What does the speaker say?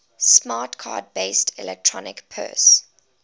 smart card based electronic purse